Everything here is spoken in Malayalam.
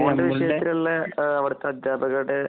ഫോണിന്‍റെ വിഷയത്തിലുള്ള ഒരു ശ്രദ്ധ